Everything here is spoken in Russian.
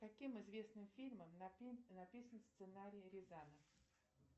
каким известным фильмам написан сценарий рязанов